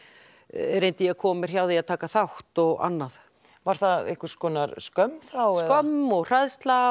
reyndi ég að koma mér hjá því að taka þátt og annað var það einhvers konar skömm skömm og hræðsla